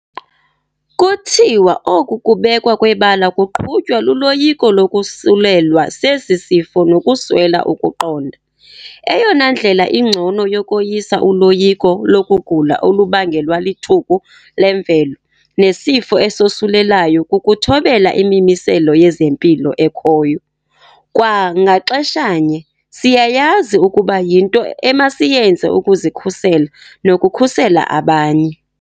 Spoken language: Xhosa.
Kuthiwa oku kubekwa kwebala kuqhutywa luloyiko lokosulelwa sesi sifo nokuswela ukuqonda. Eyona ndlela ingcono yokoyisa uloyiko lokugula olubangelwa lithuku lemvelo nesifo esosulelayo kukuthobela imimiselo yezempilo ekhoyo. Kwa ngaxeshanye, siyayazi ukuba yinto emasiyenze ukuzikhusela nokukhusela abanye.